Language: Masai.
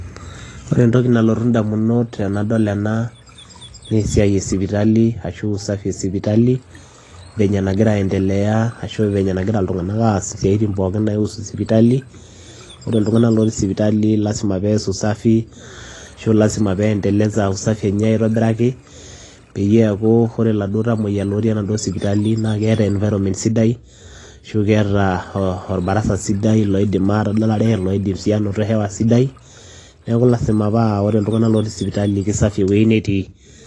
Ore entoki nalotu ndamunot tenadol ena nee esiai e sipitali ashu usafi e sipitali venye nagira aendelea ashu venye nagira iltung'anak aas isiaitin pookin naiusu sipitali. Ore iltung'anak latii sipitali lazima pees usafi ashu lazima peendeleza usafi enye aitobiraki peyie eeku ore iladuo tamueyia lotii enaduo sipitali naake eeta environment sidai ashu keeta oo oo orbarasa sidai loidim aatadalare, loidim sii anaoto hewa sidai. Neeku lazima paa ore iltung'anak lotii sipitali kisafi ewuei netii.